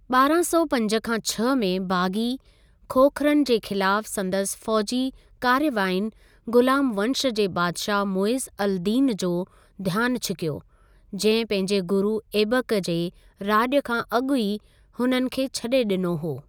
ॿारहां सौ पंज खां छ्ह में बाग़ी खोखरनि जे ख़िलाफ़ु संदसि फ़ौजी कार्यवायुनि गुलाम वंश जे बादिशाहु मुइज़ अल दीन जो ध्यानु छिकियो, जंहिं पंहिंजे गुरु ऐबक जे राॼ खां अॻु ई हुननि खे छॾे ॾिनो हो।